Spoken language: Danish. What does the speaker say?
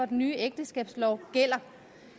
den nye ægteskabslov gælder